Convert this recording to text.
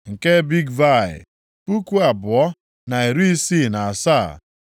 nke Bigvai, puku abụọ, na iri isii na asaa (2,067),